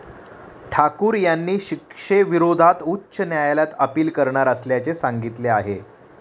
ठाकूर यांनी या शिक्षेविरोधात उच्च न्यायालयात अपील करणार असल्याचे सांगितले आहे.